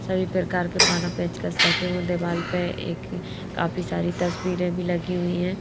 सभी प्रकार के पाना पेचकस रखे हुए दीवाल पे एक काफी सारी तस्वीरें भी लगी हुई हैं।